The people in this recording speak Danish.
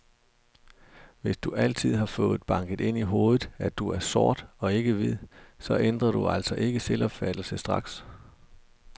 Hvis du altid har fået banket ind i hovedet, at du er sort og ikke hvid, så ændrer du altså ikke selvopfattelse straks.